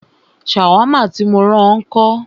Ṣàwámà tí mó rán ọ ńkọ́?